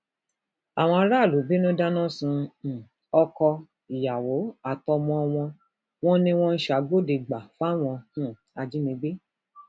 àwọn aráàlú bínú dáná sun um ọkọ ìyàwó àtọmọ wọn wọn ni wọn ń ṣàgbọdẹgbà fáwọn um ajínigbé